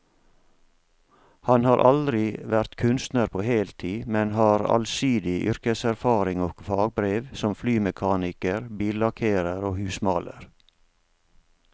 Han har aldri vært kunstner på heltid, men har allsidig yrkeserfaring og fagbrev som flymekaniker, billakkerer og husmaler.